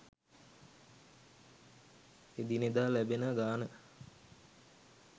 එදිනෙදා ලැබෙන ගාණ